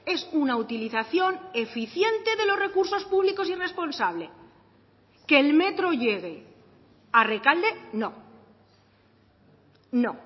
es una utilización eficiente de los recursos públicos y responsable que el metro llegue a rekalde no no